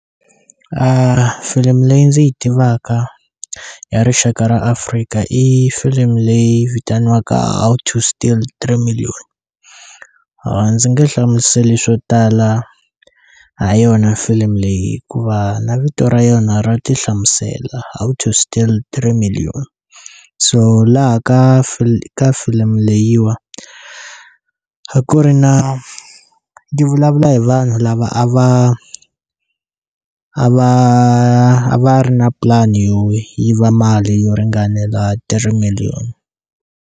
Filimi leyi ndzi yi tivaka ya rixaka ra Afrika i filimi leyi vitaniwaka How to steal three million a ndzi nge hlamuseli swo tala ha yona filimi leyi hikuva na vito ra yona ra ti hlamusela how to steal three million so laha ka ka filimi leyiwa a ku ri na di vulavula hi vanhu lava a va a va a va ri na plan-i yo yiva mali yo ringanela three million.